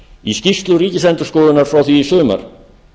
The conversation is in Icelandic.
í skýrslu ríkisendurskoðunar frá því í sumar